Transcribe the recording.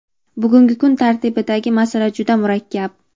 Bugungi kun tartibidagi masala juda murakkab.